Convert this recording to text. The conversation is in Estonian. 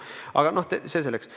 Aga noh, see selleks.